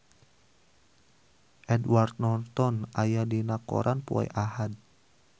Edward Norton aya dina koran poe Ahad